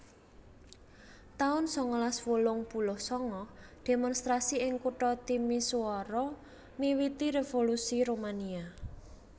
taun sangalas wolung puluh sanga Demonstrasi ing kutha Timisoara miwiti Revolusi Rumania